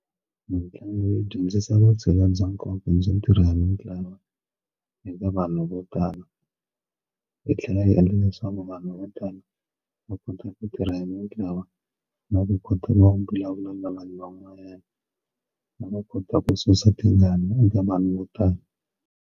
Mitlangu yi dyondzisa vutshila bya nkoka byo tirha hi mintlawa hi ka vanhu vo tala yi tlhela yi endla leswaku vanhu vo tala va kota ku tirha hi mitlawa na ku mi vulavula na vanhu van'wanyana va va kota ku susa tingana ende vanhu vo tani.